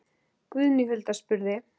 Guðný Hulda spurði